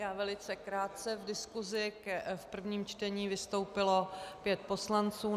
Já velice krátce, V diskusí v prvním čtení vystoupilo pět poslanců.